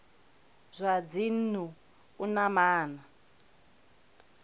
zwa dzinnu u na maana